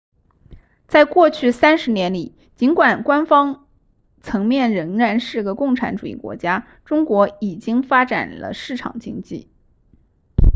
在过去三十年里尽管官方层面仍然是个共产主义国家中国已经发展了市场经济